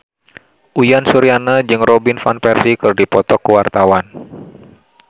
Uyan Suryana jeung Robin Van Persie keur dipoto ku wartawan